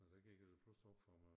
Og der gik det først op for mig